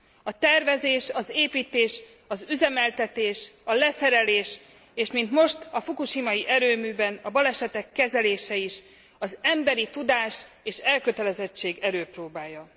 A tervezés, az építés, az üzemeltetés, a leszerelés és mint most, a fukushimai erőműben a balesetek kezelése is az emberi tudás és elkötelezettség erőpróbája.